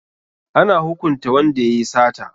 Ana hukunta wanda ya yi sata.